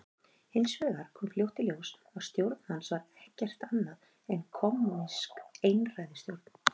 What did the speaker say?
Hins vegar kom fljótt í ljós að stjórn hans var ekkert annað en kommúnísk einræðisstjórn.